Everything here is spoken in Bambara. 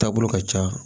Taabolo ka ca